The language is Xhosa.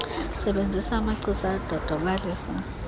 sebenzisa amachiza adodobalisa